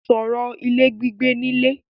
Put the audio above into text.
Sọ̀rọ̀ ilé gbígbé nílé!